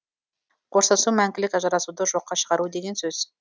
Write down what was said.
қоштасу мәңгілік ажырасуды жоққа шығару деген сөз